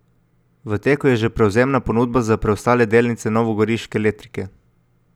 V teku je že prevzemna ponudba za preostale delnice novogoriške Letrike.